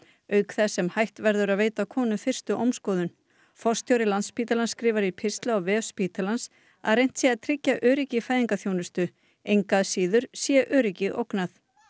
auk þess sem hætt verður að veita konum fyrstu ómskoðun forstjóri Landspítalans skrifar í pistli á vef spítalans að reynt sé að tryggja öryggi í fæðingarþjónustu engu að síður sé öryggi ógnað